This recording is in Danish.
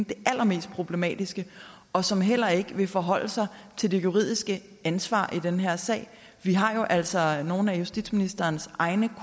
det allermest problematiske og som heller ikke vil forholde sig til det juridiske ansvar i den her sag vi har jo altså nogle af justitsministerens egne